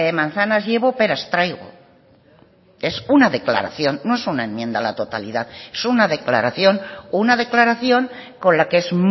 manzanas llevo peras traigo es una declaración no es una enmienda a la totalidad es una declaración una declaración con la que es